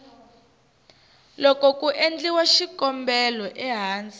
loko ku endliwa xikombelo ehansi